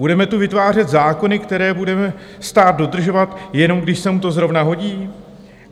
Budeme tu vytvářet zákony, které bude stát dodržovat, jenom když se mu to zrovna hodí?